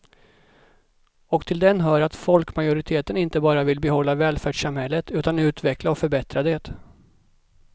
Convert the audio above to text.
Och till den hör att folkmajoriteten inte bara vill behålla välfärdssamhället utan utveckla och förbättra det.